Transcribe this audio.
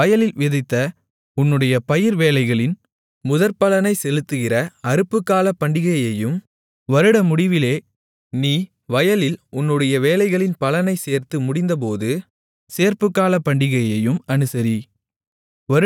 நீ வயலில் விதைத்த உன்னுடைய பயிர் வேலைகளின் முதற்பலனைச் செலுத்துகிற அறுப்புக்கால பண்டிகையையும் வருடமுடிவிலே நீ வயலில் உன்னுடைய வேலைகளின் பலனைச் சேர்த்து முடிந்தபோது சேர்ப்புக்கால பண்டிகையையும் அனுசரி